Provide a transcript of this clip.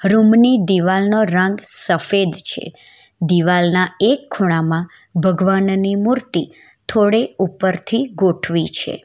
રૂમની દિવાલનો રંગ સફેદ છે દિવાલના એક ખૂણામાં ભગવાનની મૂર્તિ થોડે ઉપરથી ગોઠવિ છે.